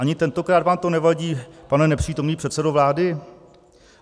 Ani tentokrát vám to nevadí, pane nepřítomný předsedo vlády?